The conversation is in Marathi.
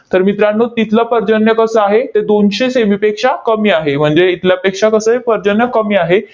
तर मित्रांनो, तिथलं पर्जन्य कसं आहे? ते दोनशे से. मी. पेक्षा कमी आहे. म्हणजे इथल्यापेक्षा कसं आहे? पर्जन्य कमी आहे.